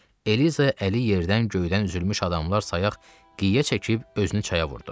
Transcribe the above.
Eliza əli yerdən göydən üzülmüş adamlar sayaq qıyə çəkib özünü çaya vurdu.